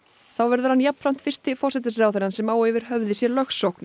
þá verður hann jafnframt fyrsti forsætisráðherrann sem á yfir höfði sér lögsókn